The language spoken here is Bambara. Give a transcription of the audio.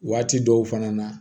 Waati dɔw fana na